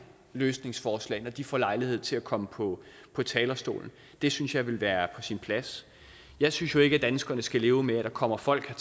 løsningsforslag når de får lejlighed til at komme på talerstolen det synes jeg ville være sin plads jeg synes jo ikke at danskerne skal leve med at der kommer folk